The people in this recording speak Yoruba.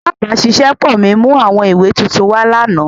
Alabaṣiṣẹpọ mi mu awọn iwe tuntun wa lana.